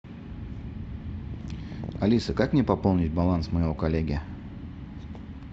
алиса как мне пополнить баланс моего коллеги